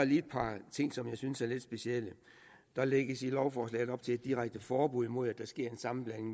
lige et par ting som jeg synes er lidt specielle der lægges i lovforslaget op til et direkte forbud mod at der sker en sammenblanding